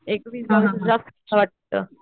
एकवीस बावीस एज च्या वाटत